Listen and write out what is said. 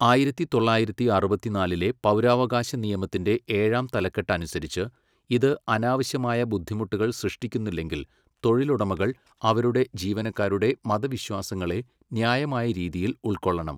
ആയിരത്തി തൊള്ളായിരത്തി അറുപത്തിനാലിലെ പൗരാവകാശ നിയമത്തിന്റെ ഏഴാം തലക്കെട്ട് അനുസരിച്ച്, ഇത് അനാവശ്യമായ ബുദ്ധിമുട്ടുകൾ സൃഷ്ടിക്കുന്നില്ലെങ്കിൽ തൊഴിലുടമകൾ അവരുടെ ജീവനക്കാരുടെ മതവിശ്വാസങ്ങളെ ന്യായമായ രീതിയിൽ ഉൾക്കൊള്ളണം.